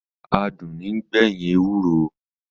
Adùn ní ń gbẹ̀yìn ewúro